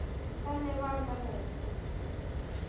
Þannig var það nú.